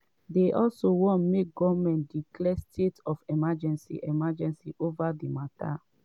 dey also wan make goment declare state of emergency emergency ova di mata.